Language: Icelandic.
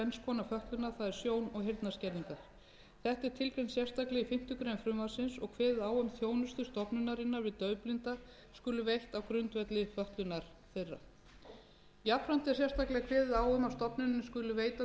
og heyrnarskerðingar þetta er tilgreint sérstaklega í fimmtu grein frumvarpsins og kveðið á um að þjónusta stofnunarinnar við daufblinda skuli veitt á grundvelli fötlunar þeirra jafnframt er sérstaklega kveðið á um að stofnunin skuli veita